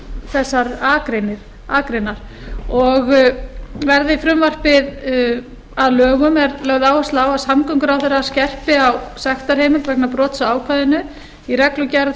þessar akreinar og verði frumvarpið að lögum er lögð áhersla á hæstvirtan samgönguráðherra skerpi á sektarheimild vegna brota á ákvæðinu í reglugerð